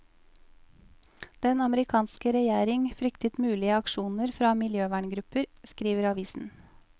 Den amerikanske regjering fryktet mulige aksjoner fra miljøverngrupper, skriver avisen.